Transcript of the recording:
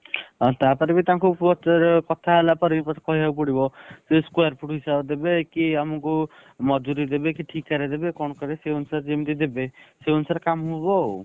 ଆଉ ତାପରେ ବି ତାଙ୍କୁ କୁହ ଯେ କଥା ହେଲା ପରେ ବି ମତେ କହିଆ କୁ ପଡିବ କି square foot ହିସାବରେ ଦେବେ କି ଆମକୁ ମଜୁରୀ ଦେବେ କି ଠିକା ରେ ଦେବେ କଣ କରିବେ। ସେଇ ଅନୁସାରେ ଯେମିତି ଦେବେ। ସେଇ ଅନୁସାରେ କାମ ହବ ଆଉ।